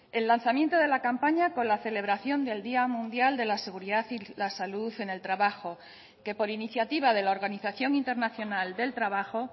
el lanzamiento de la campaña con la celebración del día mundial de la seguridad y la salud en el trabajo que por iniciativa de la organización internacional del trabajo